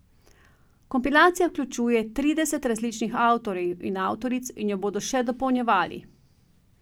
Kompilacija vključuje trideset različnih avtorjev in avtoric in jo bodo še dopolnjevali.